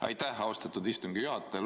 Aitäh, austatud istungi juhataja!